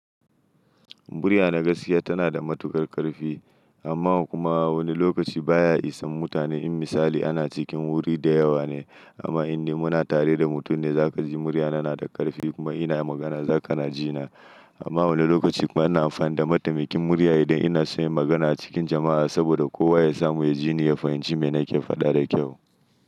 Murya na gaskiya tana da matukar karfi amma kuma wani lokaci baya isa mutane. In misali ana cikin wuri da yawa ne amma in dai muna tare da mutum ne za ka ji muryana na da karfi kuma ina magana za ka na ji na. Amma wani lokaci kuma ina amfani da matamakin murya idan ina son yi magana a cikin jama'a saboda kowa ya samu ya ji ni ya fahimci me nake faɗa da kyau.